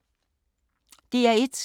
DR1